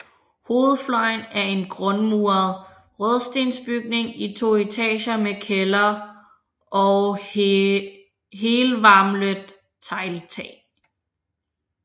Hovedfløjen er en grundmuret rødstensbygning i to etager med kælder og helvalmet tegltag